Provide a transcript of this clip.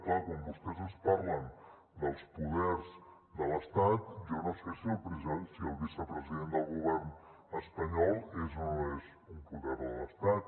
clar quan vostès ens parlen dels poders de l’estat jo no sé si el vicepresident del govern espanyol és o no és un poder de l’estat